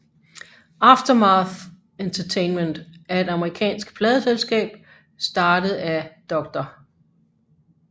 Aftermath Entertainment er et amerikansk pladeselskab startet af Dr